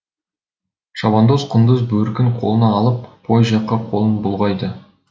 шабандоз құндыз бөркін қолына алып пойыз жаққа қолын бұлғайды